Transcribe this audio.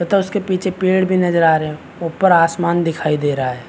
तथा उसके पीछे पेड़ भी नज़र आ रहे है ऊपर आसमान दिखाई दे रहा है।